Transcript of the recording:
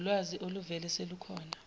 wulwazi oluvele selukhona